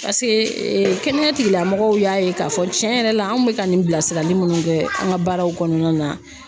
Paseke kɛnɛya tigilamɔgɔw y'a ye k'a fɔ tiɲɛ yɛrɛ la anw bɛ ka nin bilasirali munnu kɛ an ka baaraw kɔnɔna na